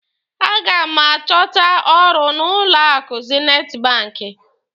A ga m achọta ọrụ n'ụlọ akụ zinit banki.